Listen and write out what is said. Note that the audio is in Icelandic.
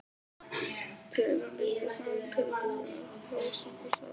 Tölum líka saman um tilfinningar okkar og hrósum hvort öðru.